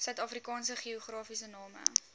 suidafrikaanse geografiese name